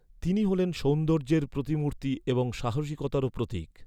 তিনি হলেন সৌন্দর্যের প্রতিমূর্তি এবং সাহসিকতারও প্রতীক।